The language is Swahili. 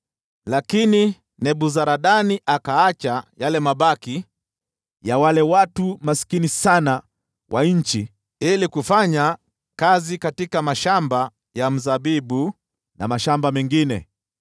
Lakini Nebuzaradani akawaacha mabaki ya wale watu maskini kabisa ili watunze mashamba ya mizabibu na mashamba mengine.